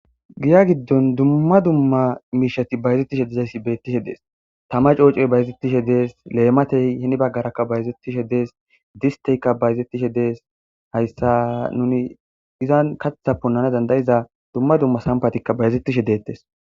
Giya giddon dumma dumma miishati bayzettishe dizayssi beettishe dees tama coocoy bayzettishe dees leematey hini baggaraka bayzettishe dees disteykka bayzetishe dees hayssa nuni izan kaththa punnana dandayiza dumma dumma sampatikka bayzettishe deettes.